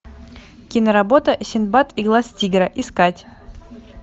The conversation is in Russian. киноработа синдбад и глаз тигра искать